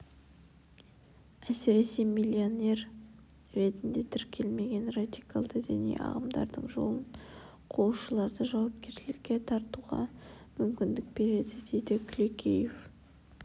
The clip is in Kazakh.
әсіресе миссионер ретінде тіркелмеген радикалды діни ағымдардың жолын қуушыларды жауапкершілікке тартуға мүмкіндік береді дейді күлекеев